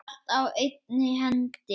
Allt á einni hendi.